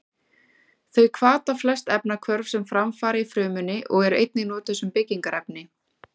Þau hvata flest efnahvörf sem fram fara í frumunni og eru einnig notuð sem byggingarefni.